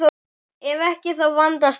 Ef ekki, þá vandast málin.